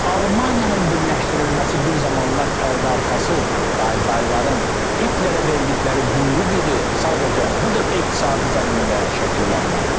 Almaniyanın birləşdirilməsi bir zamanlar pərdəarxası daydayların Hitlerə verdikləri buyruq idi, sadəcə bu dəfə iqtisadi zəmində şəkillənməli idi.